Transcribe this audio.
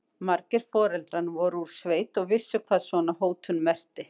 Margir foreldranna voru úr sveit og vissu hvað svona hótun merkti.